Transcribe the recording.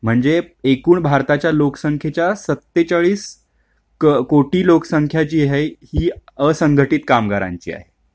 म्हणजे एकूण भारताच्या लोकसंख्येच्या सत्तेचालीस कोटी लोकसंख्या ची आहे ही असंघटित कामगारांची आहे